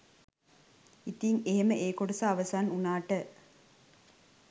ඉතින් එහෙම ඒ කොටස අවසන් උනාට